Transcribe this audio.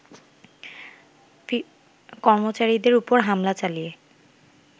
কর্মচারীদের ওপর হামলা চালিয়ে